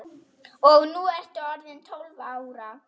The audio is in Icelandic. Og nú ertu orðin tólf ára.